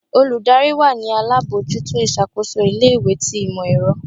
olùdarí wa ni alabọjuto iṣakoso ilé ìwé tí imọ-ẹrọ